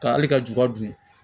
Ka hali ka juba dun